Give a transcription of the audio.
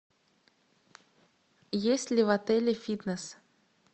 есть ли в отеле фитнес